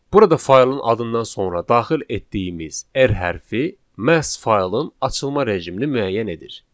Burada faylın adından sonra daxil etdiyimiz r hərfi məhz faylın açılma rejimini müəyyən edir.